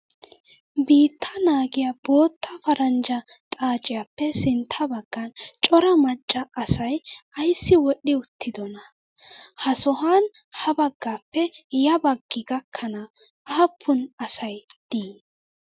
Biitta naagiyaa bootta paranjja xaaciyaappe sintta baggan cora macca asayi ayssi wodhdhi uttidonaa? Ha sohan ha baggappe ya baggi gakkkana aapun asayi dii?